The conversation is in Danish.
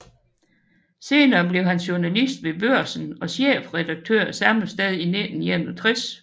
Senere blev han journalist ved Børsen og chefredaktør samme sted i 1961